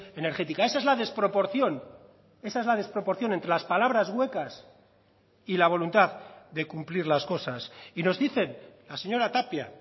energética esa es la desproporción esa es la desproporción entre las palabras huecas y la voluntad de cumplir las cosas y nos dicen la señora tapia